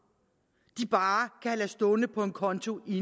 af kan lade stå på en konto i